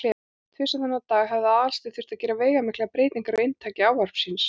Tvisvar þennan dag hafði Aðalsteinn þurft að gera veigamiklar breytingar á inntaki ávarps síns.